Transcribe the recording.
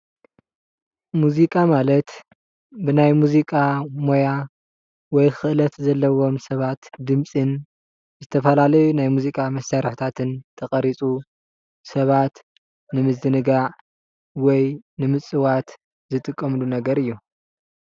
ሙዚቃ ማለት ብናይ ሙዚቃ ሞያ ወይ ኽእለት ዘለዎም ሰባት ድምፅን ዝተፈላለዩ ናይ ሙዚቃ መሳርሕታትን ተቐሪፁ ሰባት ንምዝንጋዕ ወይ ንምፅዋት ዝጥቀምሉ ነገር እዩ፡፡